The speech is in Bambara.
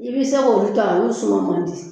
I bɛ se k'olu ta olu suma man di